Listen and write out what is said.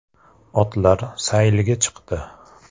“Otlar sayilga chiqdi”.